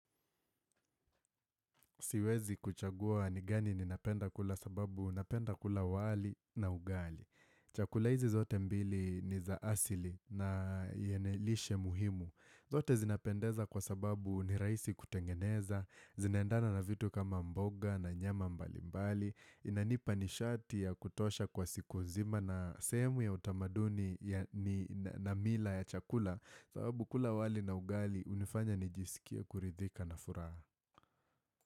Siwezi kuchagua ni gani ninapenda kula sababu napenda kula wali na ugali. Chakula hizi zote mbili ni za asili na yenye lishe muhimu. Zote zinapendeza kwa sababu ni rahisi kutengeneza, zinaendana na vitu kama mboga na nyama mbalimbali, inanipa nishati ya kutosha kwa siku zima na sehemu ya utamaduni na mila ya chakula sababu kula wali na ugali hunifanya nijisikie kuridhika na furaha.